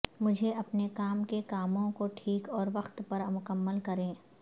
مجھے اپنے کام کے کاموں کو ٹھیک اور وقت پر مکمل کریں